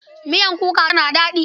Miyar kuka tana daɗi.